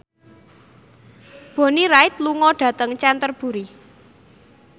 Bonnie Wright lunga dhateng Canterbury